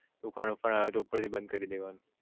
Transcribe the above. તુફાન બુફાન આવે તો ઉપર થી બંદ કરી દેવાનું